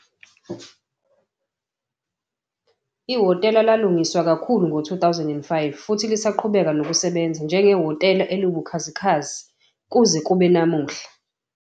Ihhotela lalungiswa kakhulu ngo-2005 futhi lisaqhubeka nokusebenza njengehhotela eliwubukhazikhazi kuze kube namuhla.